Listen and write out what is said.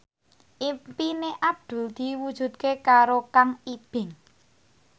impine Abdul diwujudke karo Kang Ibing